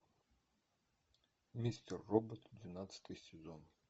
мистер робот двенадцатый сезон